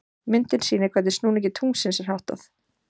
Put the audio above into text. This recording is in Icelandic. Myndin sýnir hvernig snúningi tunglsins er háttað.